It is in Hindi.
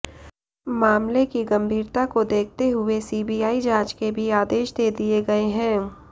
मामले की गंभीरता को देखते हुए सीबीआई जांच के भी आदेश दे दिए गए हैं